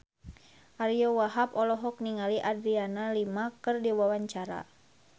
Ariyo Wahab olohok ningali Adriana Lima keur diwawancara